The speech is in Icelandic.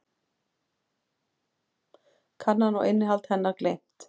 Kannan og innihald hennar gleymt.